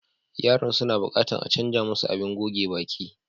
Yaran suna buƙatan a canza musu abin goge baƙi.